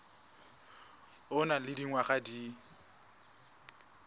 o nang le dingwaga di